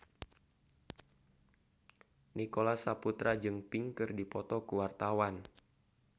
Nicholas Saputra jeung Pink keur dipoto ku wartawan